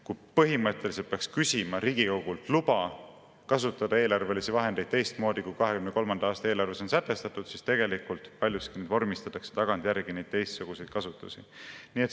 Kui põhimõtteliselt peaks küsima Riigikogult luba kasutada eelarvelisi vahendeid teistmoodi, kui 2023. aasta eelarves on sätestatud, siis tegelikult vormistatakse paljuski neid teistsuguseid kasutusi tagantjärgi.